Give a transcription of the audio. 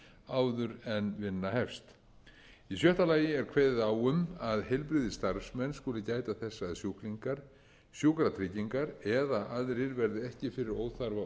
áður en vinna hefst í sjötta lagi er kveðið er á um að heilbrigðisstarfsmenn skuli gæta þess að sjúklingar sjúkratryggingar eða aðrir verði ekki fyrir óþarfa